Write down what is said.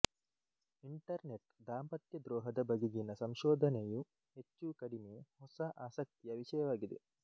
internet ದಾಂಪತ್ಯ ದ್ರೋಹದ ಬಗೆಗಿನ ಸಂಶೋಧನೆಯು ಹೆಚ್ಚುಕಡಿಮೆ ಹೊಸ ಆಸಕ್ತಿಯ ವಿಷಯವಾಗಿದೆ